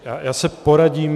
Já se poradím.